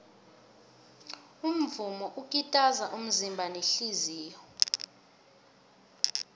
umvumo ukitaza umzimba nehliziyo